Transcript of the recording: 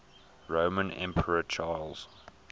roman emperor charles